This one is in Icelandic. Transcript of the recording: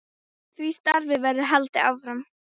Því starfi verður haldið áfram.